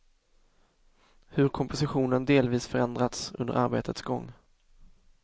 Hur kompositionen delvis förändrats under arbetets gång.